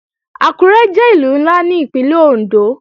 Àkúré jẹ́ Ìlú ńlá ní Ìpínlẹ̀ Òndó